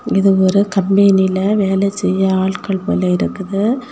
இது ஒரு கம்பெனில வேலை செய்ய ஆட்கள் போல இருக்குது.